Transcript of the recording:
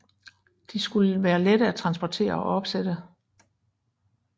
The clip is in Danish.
De skulle være lette at transportere og opsætte